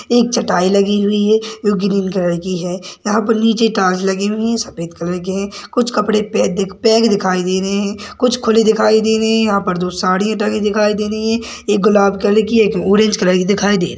एक चटाई लगी हुई है जो ग्रीन कलर की है यहाँ पर नीचे टाइल्स लगी हुई है जो सफेद कलर की है कुछ कपड़े पैक देख पैक दिखाई दे रहे है कुछ खुले दिखाई दे रहे है यहाँ पर दो सरिया टंगे दिखाई दे रही है एक गुलाब कलर की एक ऑरेंज कलर की दिखाई दे रही--